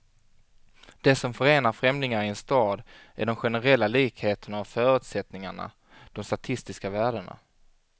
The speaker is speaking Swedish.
Det som förenar främlingar i en stad är de generella likheterna och förutsättningarna, de statistiska värdena.